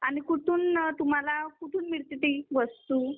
आणि कुठून तुम्हाला कुठून मिळते ती वस्तू?